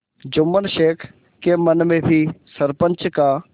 जुम्मन शेख के मन में भी सरपंच का